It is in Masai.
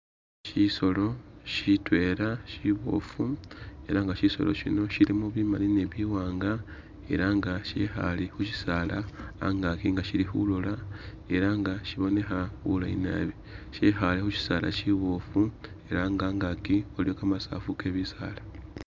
Shisolo shitwela shiboofu ela nga shisolo shino shilimo bimali ni biwaanga ela nga shikhale khusisaala a'ngaki nga shili khulola ela nga shibonekha bulayi naabi, shekhale khusisaala shiboofu ela nga a'ngaki waliwo kamasafu ke bisaala